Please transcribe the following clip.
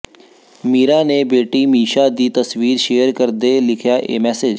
ਮੀਰਾ ਨੇ ਬੇਟੀ ਮੀਸ਼ਾ ਦੀ ਤਸਵੀਰ ਸ਼ੇਅਰ ਕਰਦੇ ਲਿਖਿਆ ਇਹ ਮੈਸੇਜ